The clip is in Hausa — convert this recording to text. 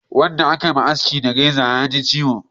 Wanda a ka ma haski da reza ya ji ciwo